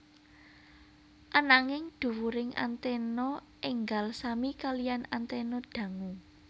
Ananging dhuwuring anténa énggal sami kaliyan anténa dangu